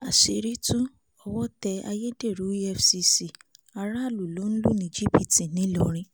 àṣírí tu owó tẹ́ ayédèrú efcc aráàlú ló ń lù ní jìbìtì nìlọrin